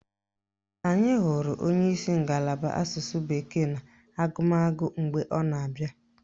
Anyị hụrụ onyeisi ngalaba Asụsụ bekee na agụmagụ mgbe ọ na-abịa